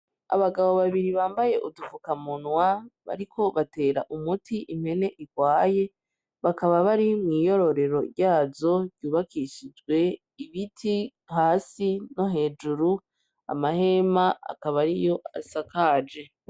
Abagabo babiri bambaye udufukanwa bariko batera umuti impene igwaye bakaba bari mwiyororero ryazo ryubakishijwe ibiti hasi no hejuru amahema akaba ariyo asakajwe.